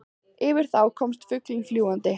Yfir þá komst bara fuglinn fljúgandi.